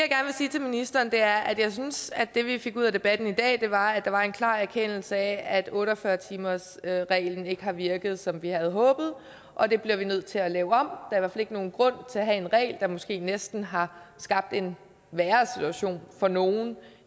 til ministeren er at jeg synes at det vi fik ud af debatten i dag var at der var en klar erkendelse af at otte og fyrre timersreglen ikke har virket som vi havde håbet og det bliver vi nødt til at lave om der er ikke nogen grund til at have en regel der måske næsten har skabt en værre situation for nogle